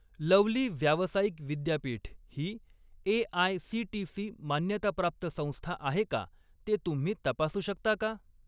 Lovely व्यावसायिक विद्यापीठ ही ए.आय.सी.टी.सी. मान्यताप्राप्त संस्था आहे का ते तुम्ही तपासू शकता का?